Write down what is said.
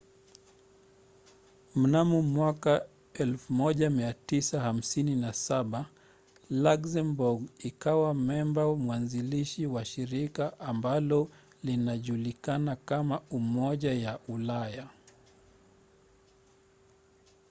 mnamo 1957 luxembourg ikawa memba mwanzilishi wa shirika ambalo leo linajulikana kama umoja wa ulaya